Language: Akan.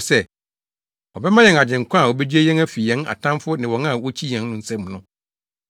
sɛ, ɔbɛma yɛn Agyenkwa a obegye yɛn afi yɛn atamfo ne wɔn a wokyi yɛn no nsam no,